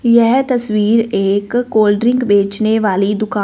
यह तस्वीर एक कोल्ड्रिंक बेचने वाली दुका--